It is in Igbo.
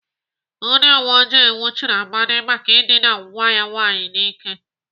Ndị uweojii nwụchiri Amadi maka ịdịna nwa ya nwaanyị n'ike.